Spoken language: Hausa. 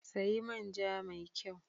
Sayi manja mai kyau!